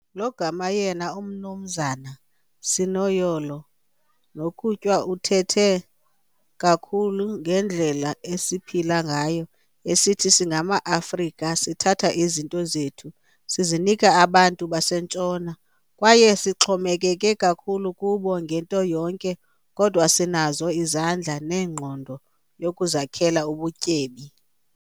Logama yena u Mnumzana Sinoyolo Nokutywa uthethe kakhulu ngendlela esiphila ngayo esithi singama Afrika sithatha izinto zethu sizinike abantu basentshona, kwaye sixhomekeke kakhulu kubo ngento yonke kodwa sinazo izandla nengqondo yokuzakhela ubutyebi.